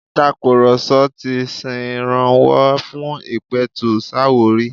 Ìtakurọ̀sọ ti ṣèrànwọ́ fún ìpẹ̀tùsááwọ̀ rí.